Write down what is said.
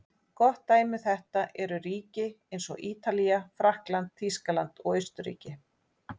Gott dæmi um þetta eru ríki eins og Ítalía, Frakkland, Þýskaland og Austurríki.